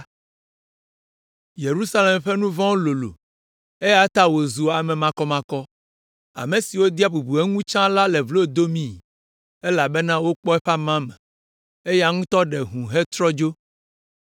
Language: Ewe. “Yerusalem ƒe nu vɔ̃wo lolo eya ta wòzu ame makɔmakɔ. Ame siwo dea bubu eŋu tsã la le vlo domi, elabena wokpɔ eƒe amame, eya ŋutɔ ɖe hũu hetrɔ dzo.